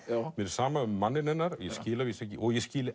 mér er sama um manninn hennar